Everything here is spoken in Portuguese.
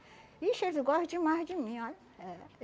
Ixi, eles gostam demais de mim, olha. É.